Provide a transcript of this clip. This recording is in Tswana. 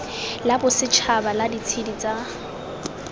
la bosetšhaba la ditshedi tsa